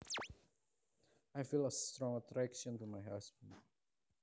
I feel a strong attraction to my husband